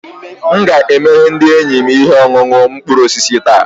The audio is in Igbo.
M ga-emere ndị enyi m ihe ọṅụṅụ mkpụrụ osisi taa